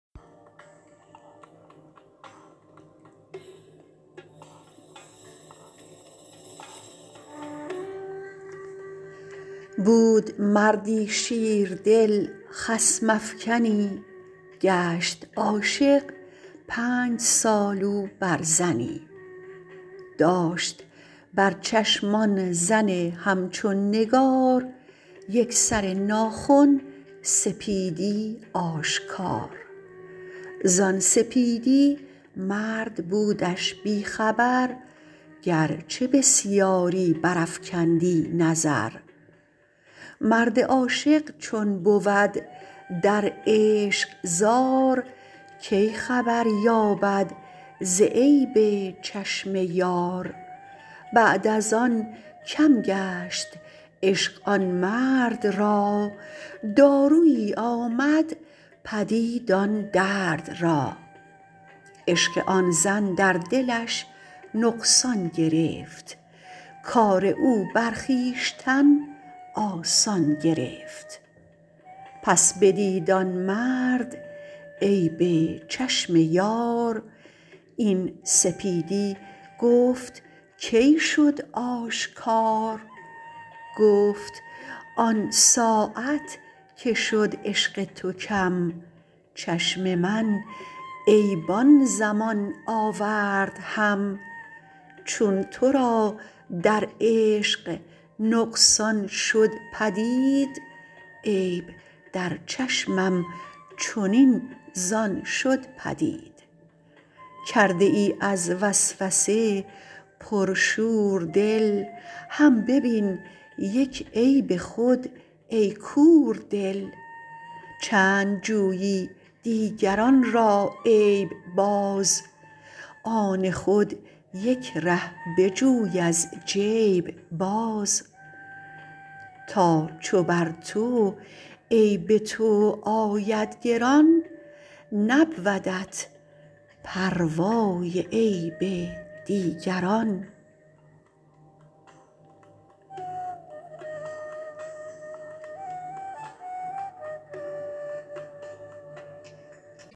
بود مردی شیردل خصم افکنی گشت عاشق پنج سال او بر زنی داشت بر چشم آن زن همچون نگار یک سر ناخن سپیدی آشکار زان سپیدی مرد بودش بی خبر گرچه بسیاری برافکندی نظر مرد عاشق چون بود در عشق زار کی خبر یابد ز عیب چشم یار بعد از آن کم گشت عشق آن مرد را دارویی آمد پدید آن درد را عشق آن زن در دلش نقصان گرفت کار او برخویشتن آسان گرفت پس بدید آن مرد عیب چشم یار این سپیدی گفت کی شد آشکار گفت آن ساعت که شد عشق تو کم چشم من عیب آن زمان آورد هم چون ترا در عشق نقصان شد پدید عیب در چشمم چنین زان شد پدید کرده ای از وسوسه پر شور دل هم ببین یک عیب خود ای کور دل چند جویی دیگران را عیب باز آن خود یک ره بجوی از جیب باز تا چو بر تو عیب تو آید گران نبودت پروای عیب دیگران